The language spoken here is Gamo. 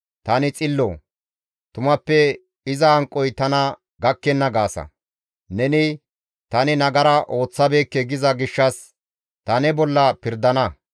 ‹Tani xillo; tumappe iza hanqoy tana gakkenna› gaasa. Neni, ‹Tani nagara ooththabeekke› giza gishshas tani ne bolla pirdana.